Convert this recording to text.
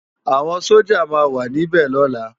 Awòn Sójá má wà ni bè lòlá